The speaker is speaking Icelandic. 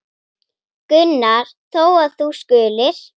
Gunnar þó, að þú skulir.